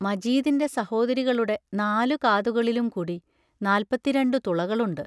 മജീദിന്റെ സഹോദരികളുടെ നാലു കാതുകളിലും കൂടി നാല്പത്തിരണ്ടു തുളകളുണ്ട്.